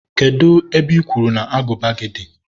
kedụ ebe I kwuru na agụba gị dị?